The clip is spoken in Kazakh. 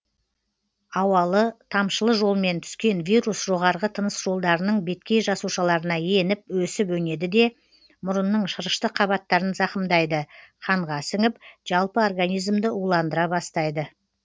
ауалы тамшылы жолмен түскен вирус жоғарғы тыныс жолдарының беткей жасушаларына еніп өсіп өнеді де мұрынның шырышты қабаттарын зақымдайды қанға сіңіп жалпы организмді уландыра бастайды